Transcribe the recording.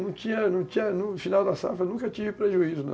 Não tinha, não tinha, no final da safra, eu nunca tive prejuízo não